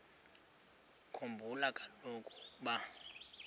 khumbula kaloku ukuba